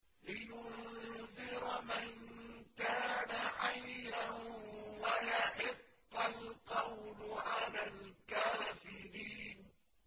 لِّيُنذِرَ مَن كَانَ حَيًّا وَيَحِقَّ الْقَوْلُ عَلَى الْكَافِرِينَ